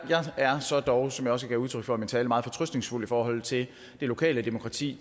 er dog som jeg også gav udtryk for i min tale meget fortrøstningsfuld i forhold til det lokale demokrati